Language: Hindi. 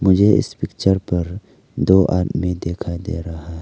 ये इस पिक्चर पर दो आदमी दिखाई दे रहा है।